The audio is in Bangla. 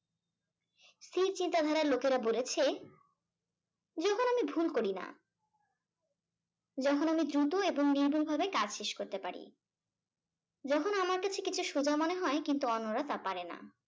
স্থির চিন্তাধারার লোকেরা বলেছে যখন আমি ভুল করি না যখন আমি দ্রুত এবং নির্ভুলভাবে কাজ শেষ করতে পারি যখন আমার কাছে কিছু সোজা মনে হয় কিন্তু অন্যরা তা পারে না।